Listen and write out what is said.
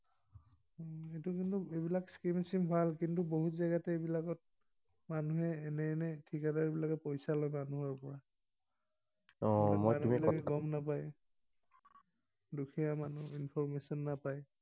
এইটো কিন্তু এইবিলাক scheme ভাল, কিন্তু বহুত জেগাতে এইবিলাকত মানুহে এনে এনে ঠিকাদাৰবিলাকে পইছা লয় মানুহৰ পৰা। মানু্হবিলাকে গম নাপায়, দুখীয়া মানুহে information নাপায়।